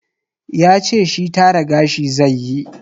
Yace shi tara gashi zaiyi.